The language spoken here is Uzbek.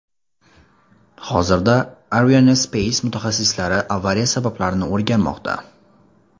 Hozirda Arianespace mutaxassislari avariya sabablarini o‘rganmoqda.